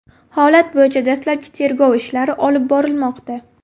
Holat bo‘yicha dastlabki tergov ishlari olib borilmoqda.